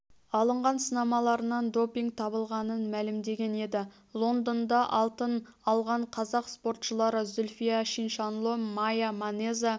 алынған сынамаларынан допинг табылғанын мәлімдеген еді лондонда алтын алған қазақ спортшылары зүлфия чиншанло мая манеза